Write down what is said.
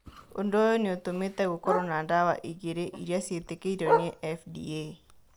Ũndũ ũyũ nĩ ũtũmĩte gũkorũo na ndawa igĩrĩ iria ciĩtĩkĩrĩtio nĩ FDA.